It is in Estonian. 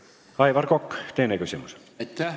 Aivar Kokk, teine küsimus!